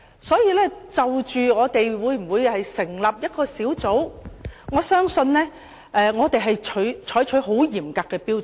所以，就立法會會否成立調查委員會，我相信我們應採取很嚴格的標準。